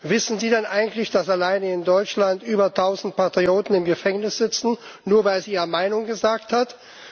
Wissen Sie denn eigentlich, dass allein in Deutschland über 1000 Patrioten im Gefängnis sitzen, nur weil sie ihre Meinung gesagt haben?